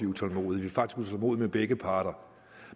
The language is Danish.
utålmodige med begge parter